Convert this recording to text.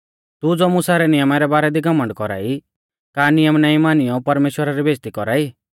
तू ज़ो मुसा रै नियमा रै बारै दी घमण्ड कौरा ई का नियम नाईं मानियौ परमेश्‍वरा री बेइज़्ज़ती कौरा ई